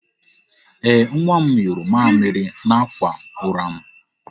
Ee, nwa m nyụrụ mamịrị n'akwa ụra m.